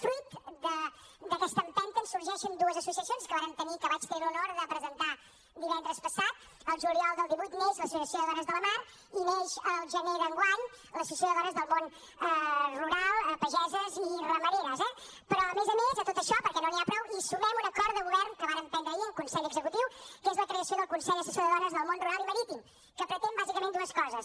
fruit d’aquesta empenta en sorgeixen dues associacions que vàrem tenir que vaig tenir l’honor de presentar divendres passat el juliol del divuit neix l’associació de dones de la mar i neix el gener d’enguany l’associació de dones del món rural pageses i ramaderes eh però a més a més de tot això perquè no n’hi ha prou hi sumem un acord de govern que vàrem prendre ahir en consell executiu que és la creació del consell assessor de dones del món rural i marítim que pretén bàsicament dues coses